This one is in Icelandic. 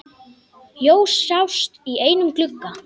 Ljós sást í einum glugga.